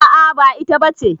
A'a ba ita ba ce.